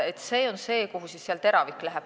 Sinna läheb seal see teravik.